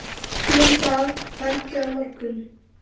Hér í dag, hvergi á morgun?